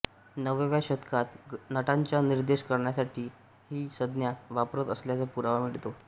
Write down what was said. नवव्या शतकात नटांचा निर्देश करण्यासाठी ही संज्ञा वापरत असल्याचा पुरावा मिळतो